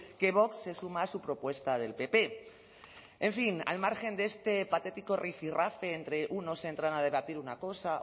que vox se suma a su propuesta del pp en fin al margen de este patético rifirrafe entre unos entran a debatir una cosa